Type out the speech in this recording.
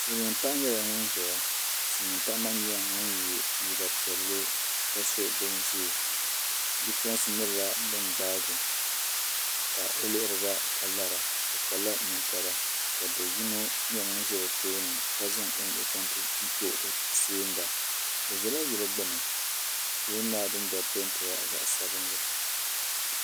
Silmiin paɣa nyɛla ŋun ʒɛya silmiin paɣa maa nyɛla ŋun yɛ liiga piɛlli ka so bin ʒiɛ bipuɣunsi nyɛla bin gbaagi o ka o lihiriba ka lara o kpala ninkpara ka do yino nyɛ ŋun ʒɛ bi tooni ka zaŋ o nuu zaŋ ti to o tɛɛnga o ʒɛla yili gbuni yili maa dundoli peentila zaɣ sabinli